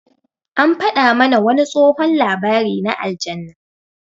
An faɗa mana wani tsohon labari na aljanna.